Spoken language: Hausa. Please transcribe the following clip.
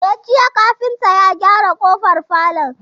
E, jiya kafinta ya gyara ƙofar falon.